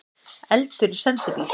Eldur í sendibíl